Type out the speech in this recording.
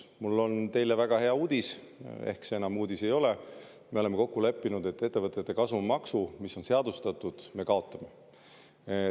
Mul on teile väga hea uudis, ehkki see enam uudis ei ole: me oleme kokku leppinud, et ettevõtete kasumimaksu, mis on seadustatud, me kaotame.